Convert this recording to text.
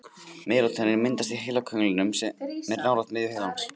Melatónín myndast í heilakönglinum sem er nálægt miðju heilans.